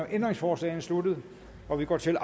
ændringsforslagene slut og vi går til